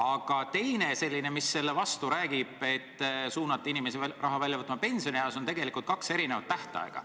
Ja veel räägib selle vastu, et suunate inimesi raha välja võtma pensionieas, tõsiasi, et tegelikult on kaks eri tähtaega.